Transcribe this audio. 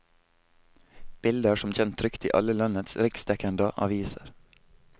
Bildet er som kjent trykt i alle landets riksdekkenda aviser.